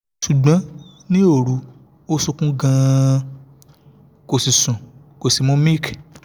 ṣùgbọ́n ní òru ó sunkún gan-an kò sì sùn kò sì mu milk